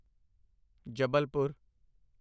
Jabalpur